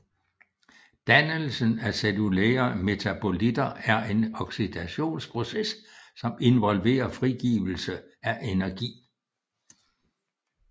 Dannelsen af cellulære metabolitter er en oxidationsproces som involverer frigivelse af energi